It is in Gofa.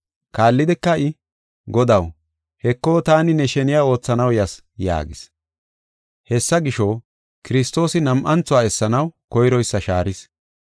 Kaallidika I, “Godaw, Heko taani ne sheniya oothanaw yas” yaagis. Hessa gisho, Kiristoosi nam7anthuwa essanaw koyroysa shaaris.